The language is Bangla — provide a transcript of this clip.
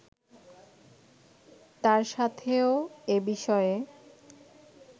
তার সাথেও এ বিষয়ে